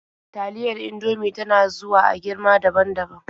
Taliyar Indomie ta na zuwa a girma daban-daban.